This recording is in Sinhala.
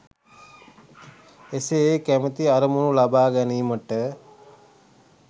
එසේ ඒ කැමැති අරමුණු ලබා ගැනීමට